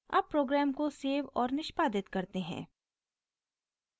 अब प्रोग्राम को सेव और निष्पादित करते हैं